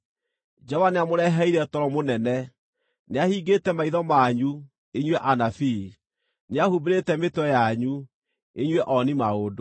Jehova nĩamũreheire toro mũnene: nĩahingĩte maitho manyu (inyuĩ anabii); nĩahumbĩrĩte mĩtwe yanyu (inyuĩ ooni-maũndũ).